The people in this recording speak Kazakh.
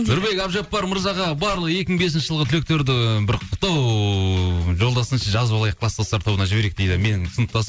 нұрбек әбдіжаппар мырзаға барлық екі мың бесінші жылғы түлектерді бір құттықтау жолдасыншы жазып алайық класстастар тобына жіберейік дейді менің сыныптасым